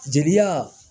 Jelita